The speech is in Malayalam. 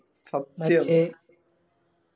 സത്യം